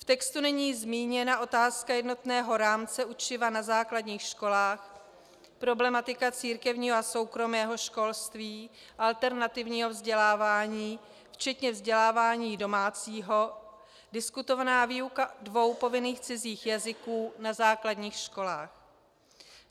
V textu není zmíněna otázka jednotného rámce učiva na základních školách, problematika církevního a soukromého školství, alternativního vzdělávání včetně vzdělávání domácího, diskutovaná výuka dvou povinných cizích jazyků na základních školách.